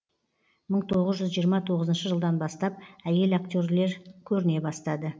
мың тоғыз жүз жиырма тоғызыншы жылдан бастап әйел актерлер көріне бастады